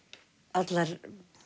allar